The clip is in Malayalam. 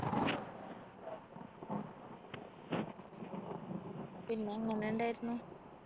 പിന്നെ എങ്ങനെ ഉണ്ടായിരുന്നു